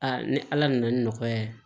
ni ala nana ni nɔgɔya ye